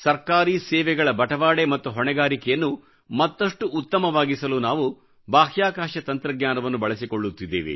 ಸರ್ಕಾರಿ ಸೇವೆಗಳ ಬಟವಾಡೆ ಮತ್ತು ಹೊಣೆಗಾರಿಕೆಯನ್ನು ಮತ್ತಷ್ಟು ಉತ್ತಮವಾಗಿಸಲು ನಾವು ಬಾಹ್ಯಾಕಾಶ ತಂತ್ರಜ್ಞಾನವನ್ನು ಬಳಸಿಕೊಳ್ಳುತ್ತಿದ್ದೇವೆ